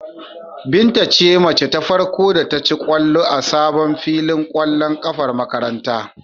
Binta ce mace ta farko da ta ci ƙwallo a sabon filin ƙwallon ƙafar makarantar.